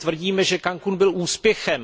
My tvrdíme, že Cancún byl úspěchem.